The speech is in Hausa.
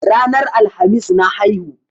Ranar Alhamis na haihu.